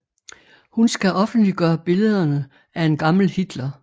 Hun skal offentliggøre billederne af en gammel Hitler